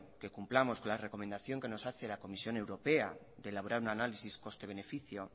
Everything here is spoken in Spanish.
que cumplamos con las recomendación que nos hace la comisión europea de elaborar un análisis coste beneficio